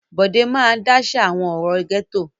Bọ̀dé máa dáṣà àwọn ọ̀rọ̀ gẹ́tò.